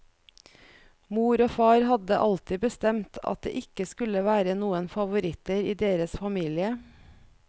Mor og far hadde alltid bestemt at det ikke skulle være noen favoritter i deres famile.